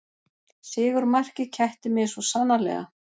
Sigurmarkið kætti mig svo sannarlega